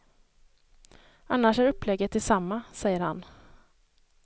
Annars är upplägget detsamma, säger han.